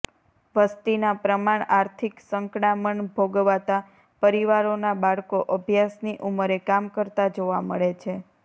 વસ્તીના પ્રમાણ આર્િથક સંકડામણ ભોગવતા પરિવારોના બાળકો અભ્યાસની ઉમરે કામ કરતા જોવા મળે છે